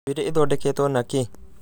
njuĩrĩ ithondeketwo na kĩĩ